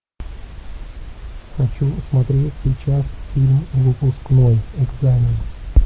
хочу смотреть сейчас фильм выпускной экзамен